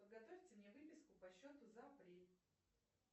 подготовьте мне выписку по счету за апрель